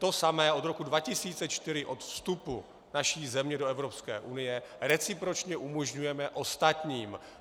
To samé od roku 2004, od vstupu naší země do Evropské unie, recipročně umožňujeme ostatním.